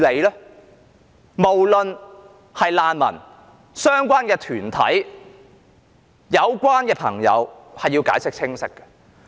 對於難民或相關團體，有關當局均應解釋清楚。